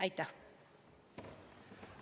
Aitäh!